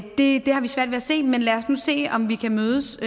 det har vi svært ved at se men lad os nu se om vi kan mødes